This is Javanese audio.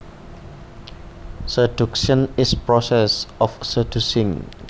Seduction is process of seducing